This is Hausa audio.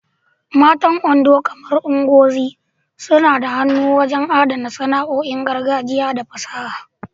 Matan Ondo, kamar Ngozi, suna da hannu wajen adana sana'o'in gargajiya da fasaha.